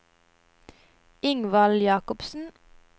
Ingvald Jakobsen